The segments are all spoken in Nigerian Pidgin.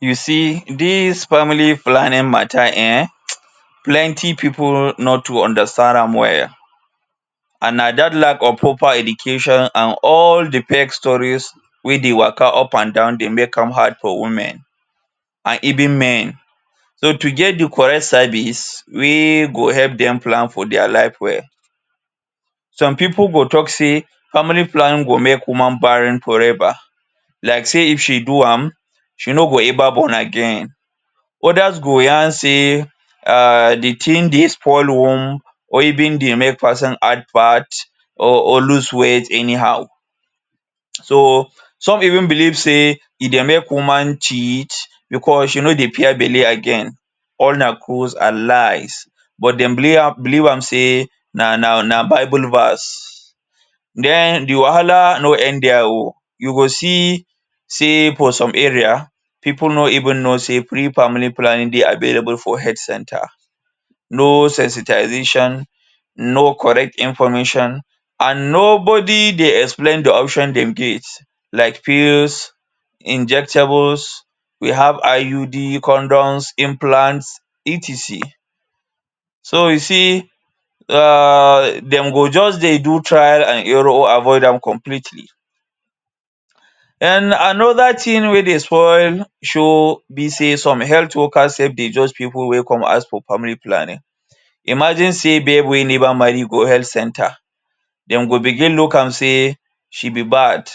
You see dis family planning mata um, plenti pipu no too understand am well and na dat lack of proper education and all di fake stories wey dey waka up and down dey make am hard for women and even men. So to get di correct service wey go help dem plan for dia life well. Some pipu go tok say family planning go make woman barren forever, like sey if she do am, she no go ever born again. Odas go yarn sey um di tin dey spoil one or even dey make person add fat or loose weight anyhow. So some even believe sey e dey make woman cheat becos she no dey fear belle again. All na cruise and lies. But dem believe am believe am sey na na na bible verse. Den di wahala no end dia o. You go see sey for some area, pipu no even know sey free family planning dey available for health center. No sensitization, no correct information, and nobodi dey explain di option dem get like pills, injectables, we have IUD, condoms, implants, etc. So you see um dem go just dey do trial and error or avoid am completely. Den another tin wey dey spoil show be sey some health workers sef dey judge pipu wey come ask for family planning. Imagine sey babe wey never marry go health center dem go begin look am sey she be bad.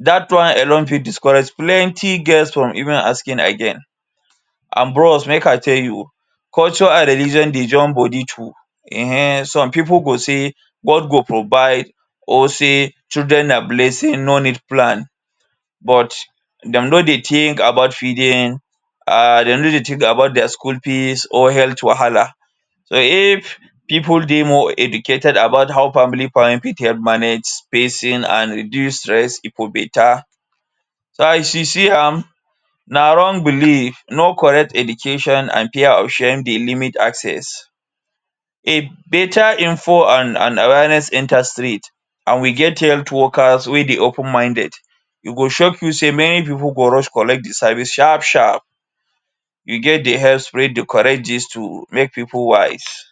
Dat one alone fit discourage plenti girls from even asking again. And bros make I tell you, culture and religion dey join bodi too. Ehen some pipu go say: ‘’God go provide’’ or say: ‘’children na blessing, no need plan’’, but dem no dey think about feeding, um dem no dey think about dia school fees or health wahala. So if pipu dey more educated about how family planning fit help manage spacing and reduce stress, e go beta. So as you see am, na wrong belief, no correct education and care option dey limit access. If beta info and and awareness enter street, and we get health workers wey dey open minded, e go shock you sey many pipu go rush collect di service sharp sharp. you get the Make pipu wise